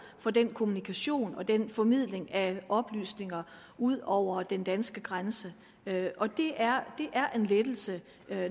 for den kommunikation og den formidling af oplysninger ud over den danske grænse og det er en lettelse